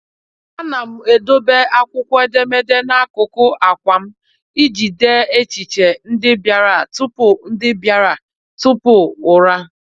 A na m edobe akwụkwọ edemede n'akụkụ àkwà m iji dee echiche ndị bịara tupu ndị bịara tupu ụra.